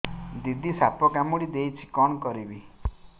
ଦିଦି ସାପ କାମୁଡି ଦେଇଛି କଣ କରିବି